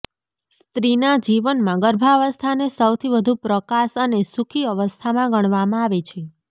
સ્ત્રીના જીવનમાં ગર્ભાવસ્થાને સૌથી વધુ પ્રકાશ અને સુખી અવસ્થામાં ગણવામાં આવે છે